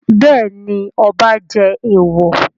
Bẹ́ẹ̀ ni, ọba jẹ èèwọ̀.